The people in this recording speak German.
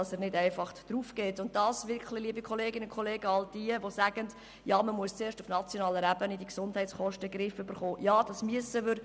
Und etwas zu all jenen, die sagen, man müsse die Gesundheitskosten zuerst auf nationaler Ebene in den Griff bekommen: Ja, das müssen wir.